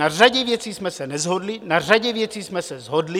Na řadě věcí jsme se neshodli, na řadě věcí jsme se shodli.